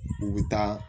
U bɛ taa